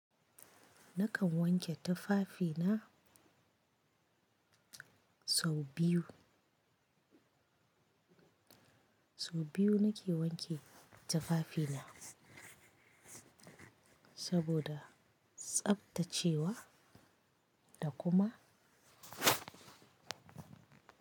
Na kan wanke tufafina sau biyu. Sau biyu nake wanke tufafina saboda tsaftacewa da kuma.